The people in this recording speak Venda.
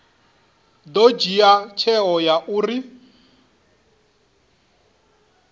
ḓo dzhia tsheo ya uri